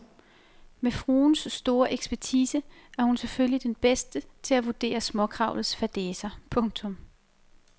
Med fruens store ekspertise er hun selvfølgelig den bedste til at vurdere småkravlets fadæser. punktum